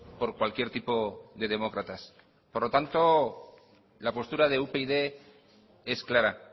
por cualquier tipo de demócratas por lo tanto la postura de upyd es clara